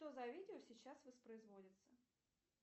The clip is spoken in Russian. что за видео сейчас воспроизводится